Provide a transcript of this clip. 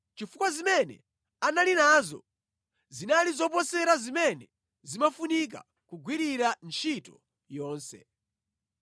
chifukwa zimene anali nazo zinali zoposera zimene zimafunika kugwirira ntchito yonse.